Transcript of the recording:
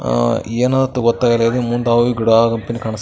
ಅಹ್ ಅಹ್ ಅದು ಏನ್ ಅಂತ ಗೊತ್ತಾಗಲ್ಲ ಮುಂದೆ ಗಿಡ ಒಂದು ಕಾಂನ್--